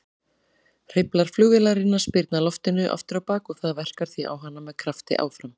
Hreyflar flugvélarinnar spyrna loftinu afturábak og það verkar því á hana með krafti áfram.